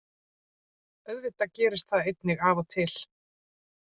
Auðvitað gerist það einnig af og til.